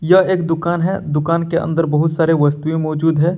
यह एक दुकान है दुकान के अंदर बहुत सारे वस्तुएं मौजूद है।